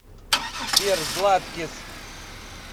сбер златкис